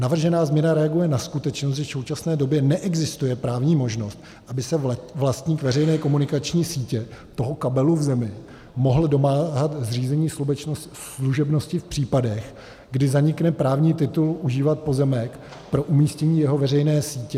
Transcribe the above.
Navržená změna reaguje na skutečnost, že v současné době neexistuje právní možnost, aby se vlastník veřejné komunikační sítě, toho kabelu v zemi, mohl domáhat zřízení služebnosti v případech, kdy zanikne právní titul užívat pozemek pro umístění jeho veřejné sítě.